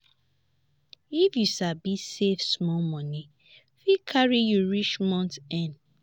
if you sabi save small money fit carry you reach month end.